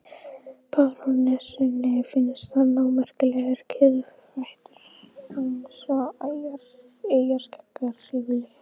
Barónessunni finnst hann ómerkilegur og kiðfættur eins og eyjarskeggjar yfirleitt.